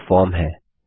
यहाँ फॉर्म है